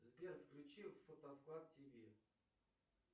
сбер включи фотосклад тв